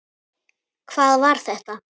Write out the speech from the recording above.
HVAÐ VAR ÞETTA?